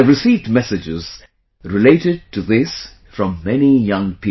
I have received messages related to this from many young people